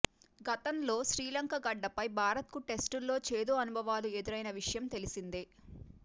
గతంలో శ్రీలంక గడ్డపై భారత్కు టెస్టుల్లో చేదు అనుభవాలు ఎదురైన విషయం తెలిసిందే